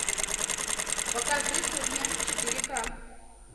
покажи кухня четыре ка